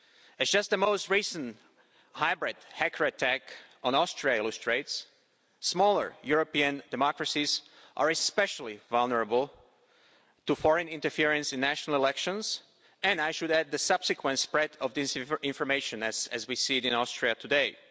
As just the most recent hybrid hacker attack on Austria illustrates, smaller European democracies are especially vulnerable to foreign interference in national elections and, I should add, the subsequent spread of disinformation as we see it in Austria today.